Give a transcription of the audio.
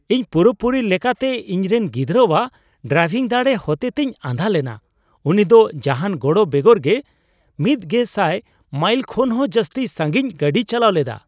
ᱤᱧ ᱯᱩᱨᱟᱹᱯᱩᱨᱤ ᱞᱮᱠᱟᱛᱮ ᱤᱧᱨᱮᱱ ᱜᱤᱫᱽᱨᱟᱹᱣᱟᱜ ᱰᱨᱟᱭᱵᱷᱤᱝ ᱫᱟᱲᱮ ᱦᱚᱛᱮᱛᱮᱧ ᱟᱸᱫᱷᱟ ᱞᱮᱱᱟ ᱾ ᱩᱱᱤ ᱫᱚ ᱡᱟᱦᱟᱱ ᱜᱚᱲᱚ ᱵᱮᱜᱚᱨ ᱜᱮ ᱑᱐᱐᱐ ᱢᱟᱭᱤᱞ ᱠᱷᱚᱱᱦᱚᱸ ᱡᱟᱹᱥᱛᱤ ᱥᱟᱺᱜᱤᱧ ᱜᱟᱹᱰᱤᱭ ᱪᱟᱞᱟᱣ ᱞᱮᱫᱟ ᱾